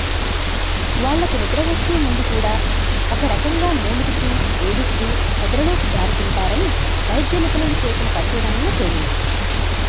వాళ్లకు నిద్ర వచ్చే ముందు కూడా ఒకరకంగా మూలుగుతూ ఏడుస్తూ నిద్రలోకి జారుకుంటారని వైద్య నిపుణులు చేసిన పరిశోధనలో తేలింది